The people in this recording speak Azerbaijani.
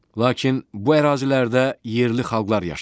Lakin bu ərazilərdə yerli xalqlar yaşayır.